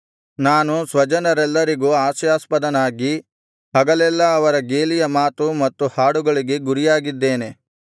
ನಾನು ಸ್ವಜನರೆಲ್ಲರಿಗೂ ಹಾಸ್ಯಾಸ್ಪದನಾಗಿ ಹಗಲೆಲ್ಲಾ ಅವರ ಗೇಲಿಯ ಮಾತು ಮತ್ತು ಹಾಡುಗಳಿಗೆ ಗುರಿಯಾಗಿದ್ದೇನೆ